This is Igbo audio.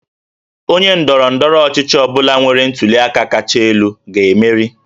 Onye ndọrọ ndọrọ ọchịchị ọ bụla nwere ntuli aka kacha elu ga-emeri